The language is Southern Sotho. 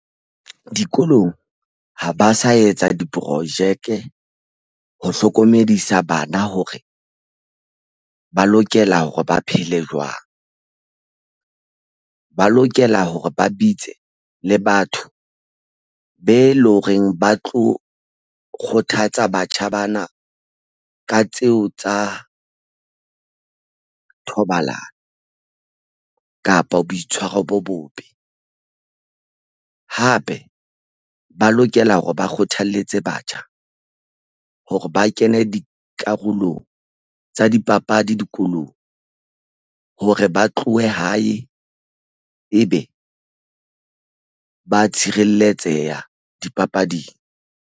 Dikolong ha ba sa etsa diporojeke ho hlokomedisa bana hore ba lokela hore ba phele jwang ba lokela hore ba bitse le batho be loreng ba tlo kgothatsa batjha bana ka tseo tsa thobalano kapa boitshwaro bo bobe hape ba lokela hore ba kgothalletse batjha hore ba kene dikarolong tsa dipapadi dikolong hore ba tlohe hae ebe ba tshireletseha dipapading.